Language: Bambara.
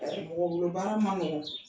mɔgɔ bolo baara ma nɔgɔ